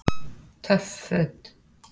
Töff Föt